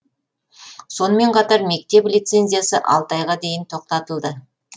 сонымен қатар мектеп лицензиясы алты айға дейін тоқтатылды